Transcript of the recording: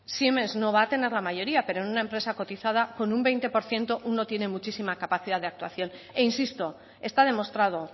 siemens no va tener la mayoría pero en una empresa cotizada con un veinte por ciento uno tiene muchísima capacidad de actuación e insisto está demostrado